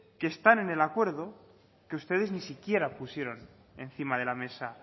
que están en el acuerdo que ustedes ni siquiera pusieron encima de la mesa